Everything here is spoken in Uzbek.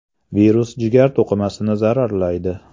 Virus jigar to‘qimasini zararlaydi.